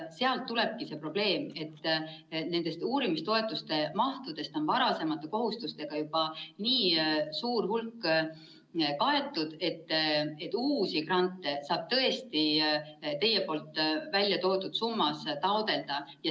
Sealt tulebki see probleem, et uurimistoetuste mahtudest on varasemate kohustustega juba nii suur hulk kaetud, et uusi grante saab tõesti taotleda teie nimetatud summas.